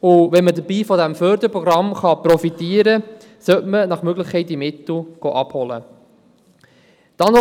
und wenn man dabei von jenem Förderprogramm profitieren kann, sollte man diese Mittel nach Möglichkeit abholen gehen.